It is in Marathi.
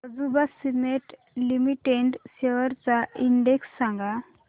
अंबुजा सीमेंट लिमिटेड शेअर्स चा इंडेक्स सांगा